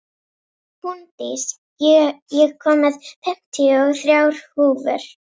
Húndís, ég kom með fimmtíu og þrjár húfur!